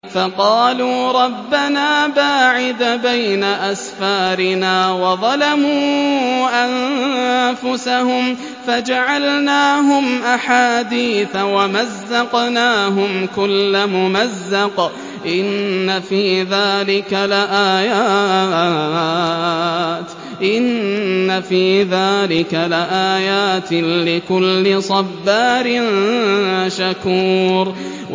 فَقَالُوا رَبَّنَا بَاعِدْ بَيْنَ أَسْفَارِنَا وَظَلَمُوا أَنفُسَهُمْ فَجَعَلْنَاهُمْ أَحَادِيثَ وَمَزَّقْنَاهُمْ كُلَّ مُمَزَّقٍ ۚ إِنَّ فِي ذَٰلِكَ لَآيَاتٍ لِّكُلِّ صَبَّارٍ شَكُورٍ